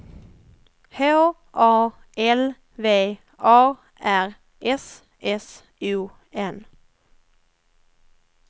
H A L V A R S S O N